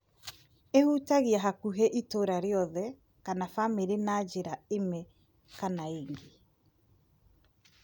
Ĩhutagia hakũhĩ itũra rĩothe kana famĩlĩ na njĩra ĩme kana ĩngĩ.